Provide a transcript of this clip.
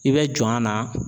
I bɛ jɔn a na